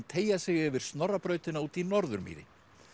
teygja sig yfir Snorrabrautina út í Norðurmýri